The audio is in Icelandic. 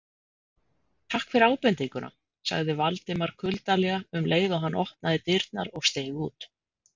Takk fyrir ábendinguna- sagði Valdimar kuldalega um leið og hann opnaði dyrnar og steig út.